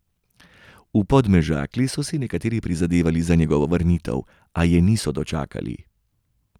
V Podmežakli so si nekateri prizadevali za njegovo vrnitev, a je niso dočakali.